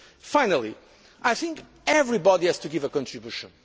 Finally, I think everybody has to make a contribution.